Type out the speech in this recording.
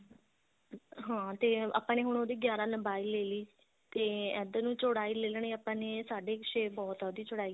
ਹਾਂ ਤੇ ਆਪਾਂ ਨੇ ਹੁਣ ਉਹਦੀ ਗਿਆਰਾਂ ਲੰਬਾਈ ਲੈਲੀ ਤੇ ਇੱਧਰ ਚੋੜਾਈ ਲੈ ਲੈਣੀ ਹੈ ਆਪਾਂ ਨੇ ਸਾਡੇ ਕ ਛੇ ਬਹੁਤ ਆ ਉਹਦੀ ਚੋੜਾਈ